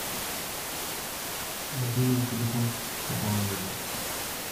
мобильный телефон пополнение